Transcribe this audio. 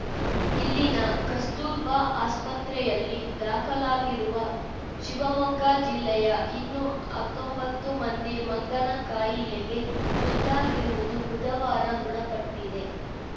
ಇಲ್ಲಿನ ಕಸ್ತೂರ್ಬಾ ಆಸ್ಪತ್ರೆಯಲ್ಲಿ ದಾಖಲಾಗಿರುವ ಶಿವಮೊಗ್ಗ ಜಿಲ್ಲೆಯ ಇನ್ನೂ ಹತ್ತೊಂಬತ್ತು ಮಂದಿ ಮಂಗನ ಕಾಯಿಲೆಗೆ ತುತ್ತಾಗಿರುವುದು ಬುಧವಾರ ದೃಢಪಟ್ಟಿದೆ